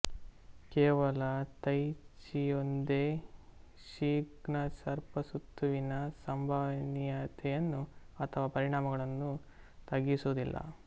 ಕೇವಲ ತೈ ಚಿಯೊಂದೇ ಷಿನ್ಗಲ್ಸ್ಸರ್ಪಸುತ್ತುವಿನ ಸಂಭವನೀಯತೆಯನ್ನು ಅಥವಾ ಪರಿಣಾಮಗಳನ್ನು ತಗ್ಗಿಸುವುದಿಲ್ಲ